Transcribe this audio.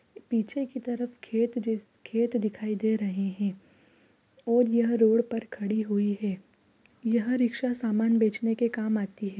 पीछे कि तरफ खेत जैसे खेत दिखाई दे रहें हैं और यह रोड पैर खड़ी हुई है यह रिख्शा सामान बेचने के काम आती है।